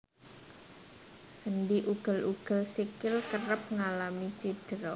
Sendhi ugel ugel sikil kerep ngalami cidra